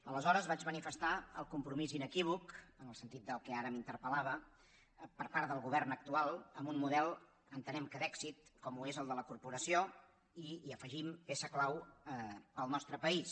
aleshores vaig manifestar el compromís inequívoc en el sentit del que ara m’interpel·lava per part del govern actual amb un model entenem que d’èxit com ho és el de la corporació i hi afegim peça clau per al nostre país